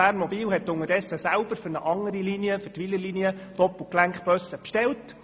BERNMOBIL hat unterdessen selber für eine andere Linie, die Wylerlinie, Doppelgelenkbusse bestellt.